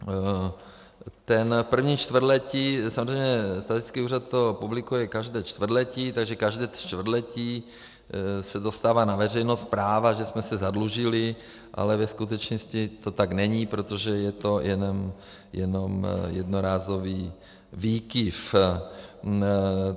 Takže první čtvrtletí, samozřejmě statistický úřad to publikuje každé čtvrtletí, takže každé čtvrtletí se dostává na veřejnost zpráva, že jsme se zadlužili, ale ve skutečnosti to tak není, protože je to jenom jednorázový výkyv.